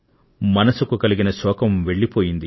మనసుకు కలిగిన శోకం వెళ్లిపోయింది